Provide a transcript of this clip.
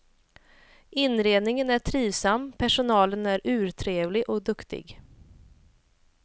Inredningen är trivsam, personalen är urtrevlig och duktig.